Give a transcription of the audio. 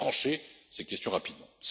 de l'Union. Il faut trancher ces questions